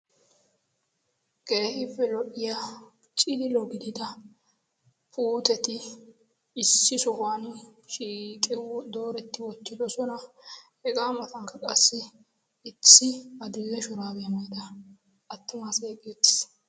keehippe lo''iya ciililo gidida puuteti issi sohuwan shiiqi dooretti wootidosona hegaa matankka qassi issi adil''e shuraabee mayda attumasaay eqiis uttiis